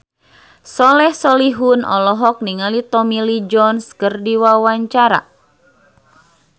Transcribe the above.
Soleh Solihun olohok ningali Tommy Lee Jones keur diwawancara